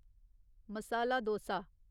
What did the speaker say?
masala dosa